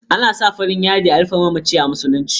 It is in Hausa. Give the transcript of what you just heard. Ana sa farin yadi a rufe mamaci a musuluci.